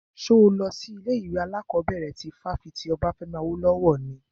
Ṣo lọ sí ilé ìwé alákọ̀bẹ̀rẹ̀ ti fáfitì Obafemi Awolowo ni?